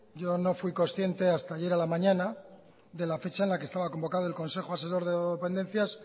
yo no fui consciente hasta ayer a la mañana de la fecha en la que estaba convocado el consejo asesor de drogodependencias